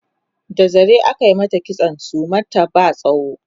da zare ake mata kitson suman ta ba tsawo